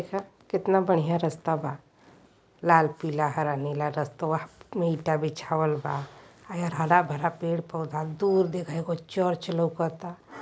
ख् केतना बढ़ियां रस्ता बा। लाल पीला हरा नीला रस्तवा में ईंटा बिछावल बा। अ एहर हरा-भरा पेड़-पौधा। दूर देखा एगो चर्च लउकता।